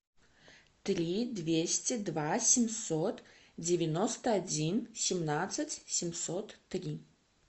три двести два семьсот девяносто один семнадцать семьсот три